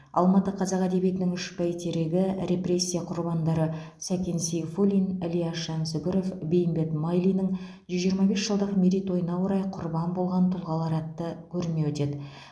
алматыда қазақ әдебиетінің үш бәйтерегі репрессия құрбандары сәкен сейфуллин ілияс жансүгіров бейімбет майлиннің жүз жиырма бес жылдық мерейтойына орай құрбан болған тұлғалар атты көрме өтеді